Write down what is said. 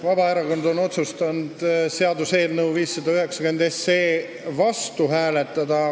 Vabaerakond on otsustanud seaduseelnõu 590 vastu hääletada.